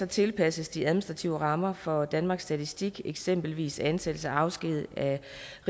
tilpasses de administrative rammer for danmarks statistik eksempelvis ansættelse og afskedigelse af